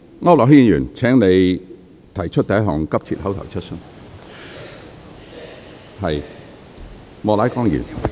區諾軒議員，請你提出第一項急切口頭質詢。